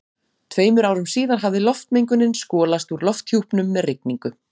Tveimur árum síðar hafði loftmengunin skolast úr lofthjúpnum með rigningu.